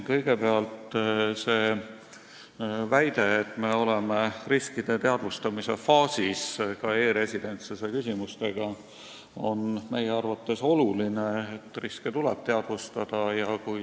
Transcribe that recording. Kõigepealt, see väide, et me oleme riskide teadvustamise faasis, ka e-residentsuse küsimustes, on meie arvates oluline, riske tuleb teadvustada.